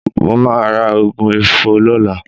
Mo máa ra òògùn ifo lọ́la